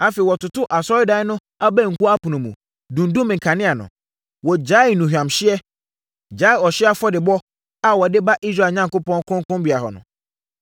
Afei, wɔtotoo Asɔredan no abankua apono mu, dundumm nkanea no. Wɔgyaee nnuhwamhyeɛ, gyaee ɔhyeɛ afɔrebɔdeɛ a wɔde ba Israel Onyankopɔn, kronkronbea hɔ no.